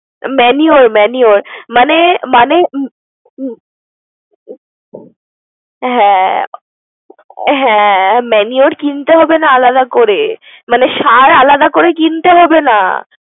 Manure manure মানে মানে হ্যাঁ হ্যাঁ manure কিনতে হবে না আলাদা করে। মানে সার আলাদা করে কিনতে হবে না।